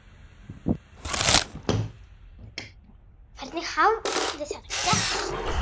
Hvernig hafði þetta gerst?